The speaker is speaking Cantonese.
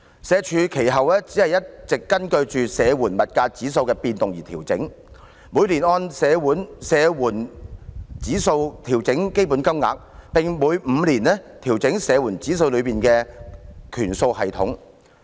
社署其後一直根據社會保障援助物價指數的變動而調整，每年按社援物價指數調整標準金額，並每5年調整社援物價指數內的權數系統。